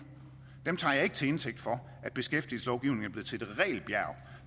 til indtægt for at beskæftigelseslovgivningen